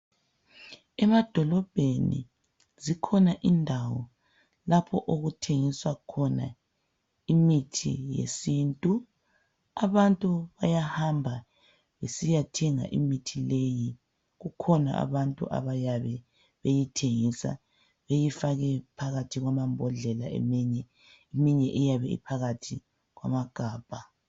Emadolobheni zikhona indawo lapho okuthengiswa khona imithi yesintu. Abantu bayahamba besiya thenga imithi leyi. Kukhona abantu abayabe beyithengisa beyifake phakathi kwamambodlela eminye iyabe iphakathi kwamagabha.